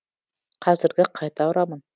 қазіргі қайта ұрамын